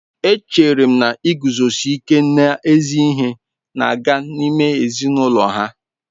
Echere m na iguzosi ike n'ezi ihe na-aga n'ime ezinụlọ ha.